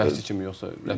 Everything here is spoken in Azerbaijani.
Məşqçi kimi yoxsa rəhbərlik?